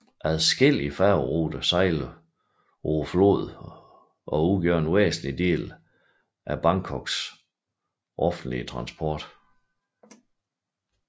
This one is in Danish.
Adskillige færgeruter sejler på floden og udgør en væsentlig del af byens Bangkoks offentlige transport